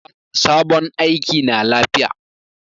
Sabon aiki na lafiya.